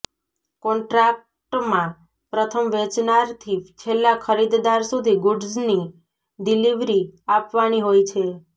કોન્ટ્રાક્ટમાં પ્રથમ વેચનારથી છેલ્લા ખરીદદાર સુધી ગૂડ્ઝની ડિલિવરી આપવાની હોય છે